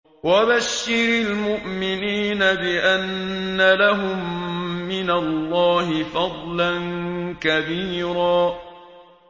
وَبَشِّرِ الْمُؤْمِنِينَ بِأَنَّ لَهُم مِّنَ اللَّهِ فَضْلًا كَبِيرًا